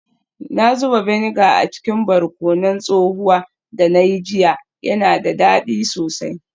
Na zuba vinegar a cikin barkonon tsohuwa da na yi jiya, yana da dadi sosai.